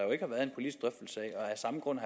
af samme grund